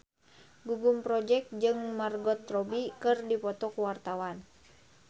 Gugum Project Pop jeung Margot Robbie keur dipoto ku wartawan